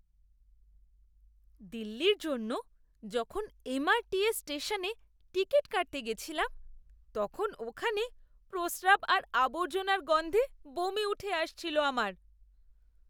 দিল্লির জন্য যখন এমআরটিএস স্টেশনে টিকিট কাটতে গেছিলাম, তখন ওখানে প্রস্রাব আর আবর্জনার গন্ধে বমি উঠে আসছিল আমার!